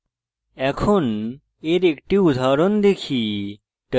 এখন এর একটি উদাহরণ দেখি